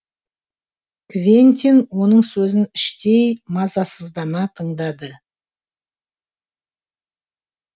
квентин оның сөзін іштей мазасыздана тыңдады